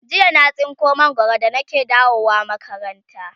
jiya na tsinko mangwaro da nake dawowa makaranta